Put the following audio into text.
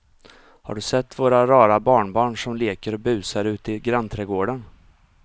Har du sett våra rara barnbarn som leker och busar ute i grannträdgården!